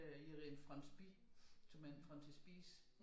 Er en franspir som er en frontispice